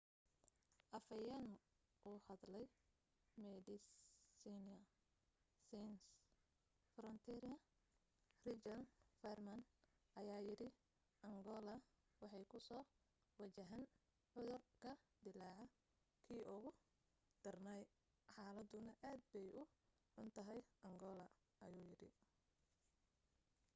afhayeen u hadlay medecines sans frontiere richard veerman ayaa yidhi: angoola waxay kusoo wajahan cudur ka dillaaca kii ugu darnaa xaaladduna aad bay u xuntahay angoola,” ayuu yidhi